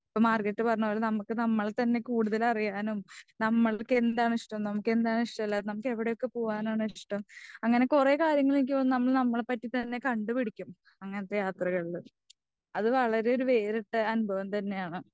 Margaret പറഞ്ഞ പോലെ നമ്മക്ക് നമ്മളെത്തന്നെ കൂടുതൽ അറിയുവാനും. നമ്മൾക്കെന്താണിഷ്ടം ഏതാനിഷ്ടമില്ലാത്തത്. എവിടൊക്കെ പോവാനാണിഷ്ടഓ അങ്ങനെ കുറെ കാര്യങ്ങൾ എനിക്ക് തോന്നുന്നു നമ്മൾ നമ്മളെ പറ്റി തന്നെ കണ്ടു പിടിക്കും. അങ്ങനത്തെ യാത്രകളില് അത് വളരെ വേറിട്ടൊരു അനുഭവം തന്നെയാണ്.